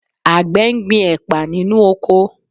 Àgbẹ̀ ń gbin ẹ̀pà nínú oko